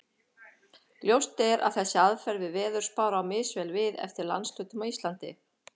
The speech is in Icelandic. Ljóst er að þessi aðferð við veðurspár á misvel við eftir landshlutum á Íslandi.